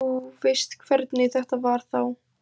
Þú veist hvernig þetta var þá.